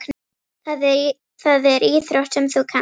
Það er íþrótt sem þú kannt.